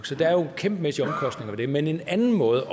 så der er jo kæmpemæssige omkostninger ved det men en anden måde